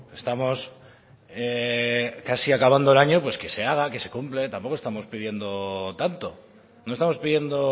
estamos casi acabando el año pues que se haga que se cumple tampoco estamos pidiendo tanto no estamos pidiendo